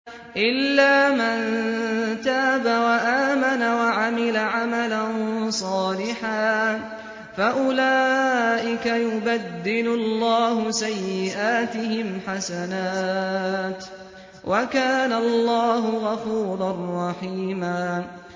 إِلَّا مَن تَابَ وَآمَنَ وَعَمِلَ عَمَلًا صَالِحًا فَأُولَٰئِكَ يُبَدِّلُ اللَّهُ سَيِّئَاتِهِمْ حَسَنَاتٍ ۗ وَكَانَ اللَّهُ غَفُورًا رَّحِيمًا